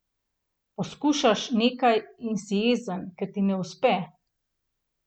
Poskušaš nekaj in si jezen, ker ti ne uspe.